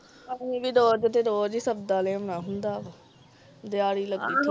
ਆਹੋ ਅਸੀਂ ਵੀ ਰੋਜ ਦੇ ਰੋਜ ਸੰਕੁੜਾ ਲਿਆਉਣਾ ਹੁੰਦਾ ਵਾ ਦਿਹਾੜੀ ਲਾਕੇ